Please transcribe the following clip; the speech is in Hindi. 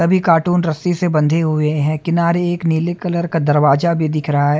सभी कार्टून रस्सी से बंधे हुए है किनारे एक नील कलर का दरवाजा भी दिख रहा है।